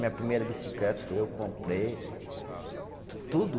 Minha primeira bicicleta foi eu, comprei. Tu tudo